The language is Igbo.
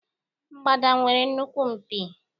Mgbada nwere nnukwu mpi.